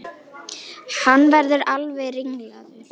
Hann verður alveg ringlaður.